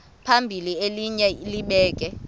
phambili elinye libheke